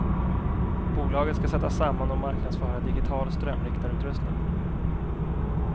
Bolaget ska sätta samman och marknadsföra digital strömriktarutrustning.